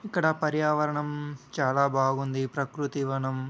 ఇక్కడ పర్యావరణం చాలా బాగుంది. ప్రకృతి వనం --